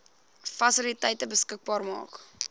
fasiliteite beskikbaar maak